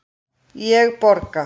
Ég borga.